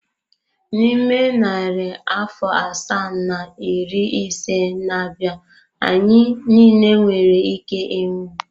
N'ime narị afọ asaa na iri ise na-abịa, anyị niile nwere ike ịnwụ.